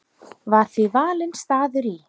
Var því valinn staður í